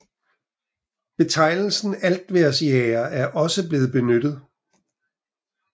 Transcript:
Betegnelsen altvejrsjager er også blevet benyttet